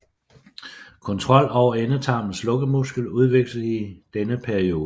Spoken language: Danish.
Kontrol over endetarmens lukkemuskel udvikles i denne periode